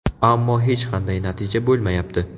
Ammo hech qanday natija bo‘lmayapti.